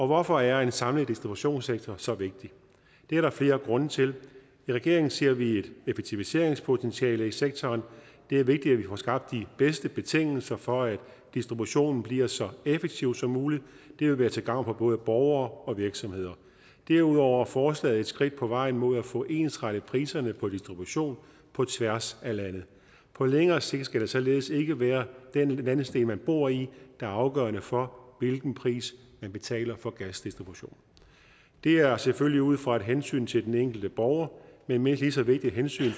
hvorfor er en samlet distributionssektor så vigtig det er der flere grunde til i regeringen ser vi et effektiviseringspotentiale i sektoren det er vigtigt at vi får skabt de bedste betingelser for at distributionen bliver så effektiv som muligt det vil være til gavn for både borgere og virksomheder derudover er forslaget et skridt på vejen mod at få ensrettet priserne på distribution på tværs af landet på længere sigt skal det således ikke være den landsdel man bor i der er afgørende for hvilken pris man betaler for gasdistribution det er selvfølgelig ud fra et hensyn til den enkelte borger men et mindst lige så vigtigt hensyn